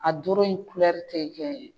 A doro in tɛ kɛ